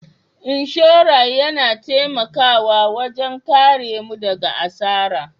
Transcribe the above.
Inshora yana taimakawa wajen karemu daga asara.